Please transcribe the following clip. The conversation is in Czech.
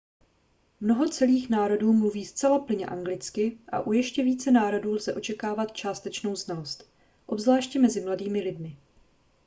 mnoho celých národů mluví zcela plynně anglicky a u ještě více národů lze očekávat částečnou znalost obzvláště mezi mladými lidmi